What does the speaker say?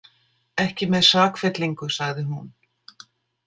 Ekki með sakfellingu, sagði hún.